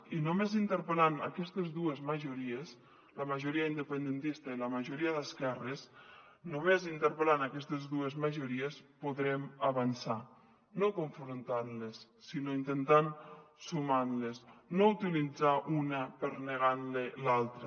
i només interpel·lant aquestes dues majories la majoria independentista i la majoria d’esquerres només interpel·lant aquestes dues majories podrem avançar no confrontant les sinó intentant sumar les no utilitzant ne una per negar l’altra